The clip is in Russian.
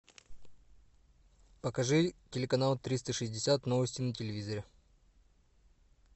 покажи телеканал триста шестьдесят новости на телевизоре